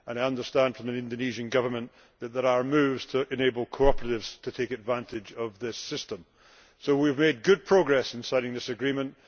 I understand from the Indonesian Government that there are moves to enable cooperatives to take advantage of the system. We have made good progress in signing this agreement.